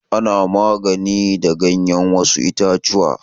Ana magani da ganyar wasu itatuwa.